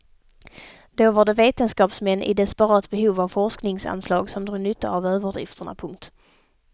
Då var det vetenskapsmän i desperat behov av forskningsanslag som drog nytta av överdrifterna. punkt